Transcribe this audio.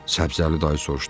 Səbzəli dayı soruşdu.